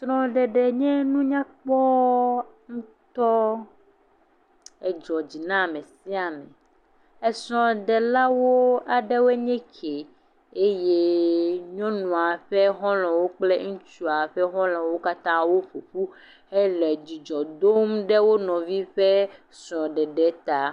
Srɔ̃ɖeɖe nye nu nyakpɔɔɔ ŋutɔ, Edzɔ dzi na ame sia ame. Esrɔ̃ɖelawo aɖewoe nye ke eyeee nyɔnua ƒe xɔlɔ̃wo kple ŋutsua ƒe xɔlɔ̃wo katã woƒo ƒu hele dzidzɔ dom ɖe wo nɔvi ƒe srɔ̃ɖeɖe ta.